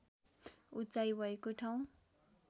उचाइ भएको ठाउँ